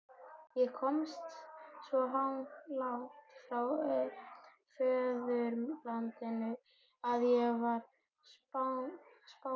Ég komst svo langt frá föðurlandinu að ég varð spámaður.